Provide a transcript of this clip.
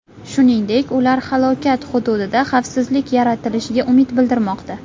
Shuningdek, ular halokat hududida xavfsizlik yaratilishiga umid bildirmoqda.